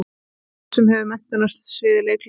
Eða sá sem hefur menntun á sviði leiklistar?